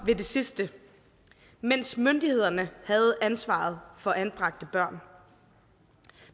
ved det sidste mens myndighederne havde ansvaret for anbragte børn